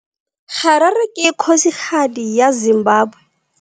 Harare ke kgosigadi ya Zimbabwe.